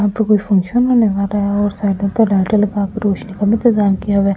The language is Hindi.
यहां पर कोई फंक्शन होने वाला है और साइड पर लाइटे लगाकर रोशनी का भी इंतजाम किया हुआ है।